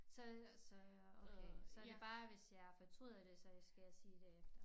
Så så jeg okay så det bare hvis jeg fortryder det så jeg skal sige det